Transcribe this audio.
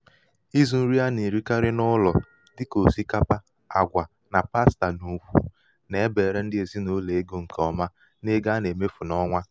ịzụ̄ nri a nà-èrikarị n’ụlọ̀ dịkà òsìkapa àgwà na pasta n’ùkwù nà-ebère ndị ezinàụlọ̀ egō ṅ̀kè ọma n’ego a nà-èmefu n’ọnwa.